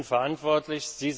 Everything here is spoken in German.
Sie sind verantwortlich.